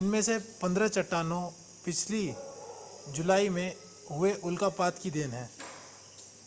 इनमें से पंद्रह चट्टानें पिछली जुलाई में हुए उल्कापात की देन हैं